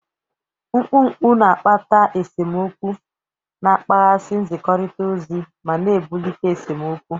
Mkpọ mkpu na-akpata esemokwu, na-akpaghasị nzikọrịta ozi, ma na-ebulite esemokwu.